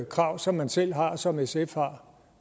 krav som man selv har som sf har